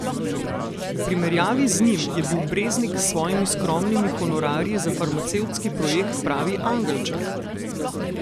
V primerjavi z njim je bil Breznik s svojimi skromnimi honorarji za farmacevtski projekt pravi angelček!